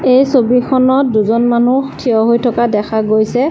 এই ছবিখনত দুজন মানুহ থিয় হৈ থকা দেখা গৈছে।